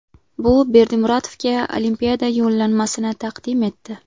Bu Berdimuratovga Olimpiada yo‘llanmasini taqdim etdi.